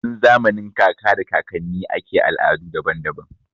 Tun zamanin kaka da kakanni ake da al'adu daban-daban.